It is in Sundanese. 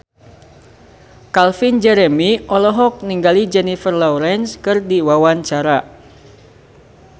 Calvin Jeremy olohok ningali Jennifer Lawrence keur diwawancara